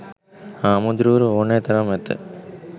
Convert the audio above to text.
හාමුදුරුවරු ඕනැ තරම් ඇත.